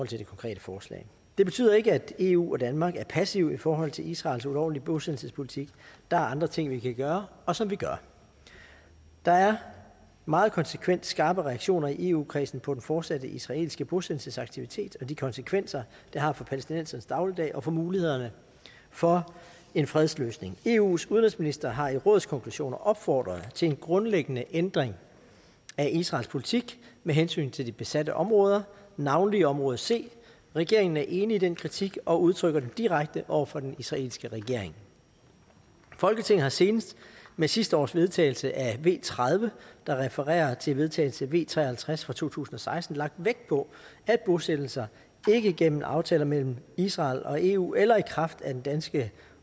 til det konkrete forslag det betyder ikke at eu og danmark er passive i forhold til israels ulovlige bosættelsespolitik der er andre ting vi kan gøre og som vi gør der er meget konsekvent skarpe reaktioner i eu kredsen på den fortsatte israelske bosættelsesaktivitet og de konsekvenser det har for palæstinensernes dagligdag og for mulighederne for en fredsløsning eus udenrigsministre har i rådskonklusioner opfordret til en grundlæggende ændring af israels politik med hensyn til de besatte områder navnlig område c regeringen er enig i den kritik og udtrykker den direkte over for den israelske regering folketinget har senest med sidste års vedtagelse af v tredive der refererer til vedtagelse v tre og halvtreds fra to tusind og seksten lagt vægt på at bosættelser ikke gennem aftaler mellem israel og eu eller i kraft af danske